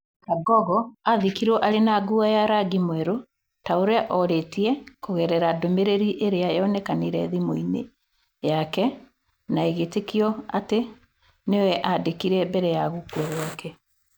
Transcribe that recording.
Kangogo aathikirwo arĩ na nguo ya rangi mwerũ ta ũrĩa orĩtie kũgerera ndũmĩrĩri ĩrĩa yonekanire thimũ-inĩ yake na ĩgĩĩtĩkio atĩ nĩ we aandĩkire mbere ya gũkũa gwake.